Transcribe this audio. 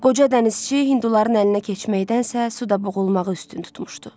Qoca dənizçi hinduların əlinə keçməkdənsə, suda boğulmağı üstün tutmuşdu.